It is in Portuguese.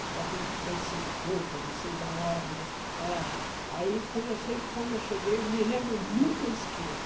Eu acredito que pouca, não sei da hora, mas era... Aí, quando eu che quando eu cheguei, eu me lembro, nunca esqueço.